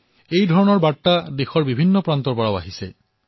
বহু লোকে মোলৈ পত্ৰ লিখি এনে প্ৰতিজ্ঞা গ্ৰহণ কৰা বুলি কৈছে